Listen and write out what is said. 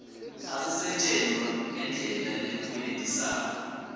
asisetjentwa ngendlela lekwenetisako